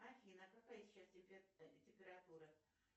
афина какая сейчас температура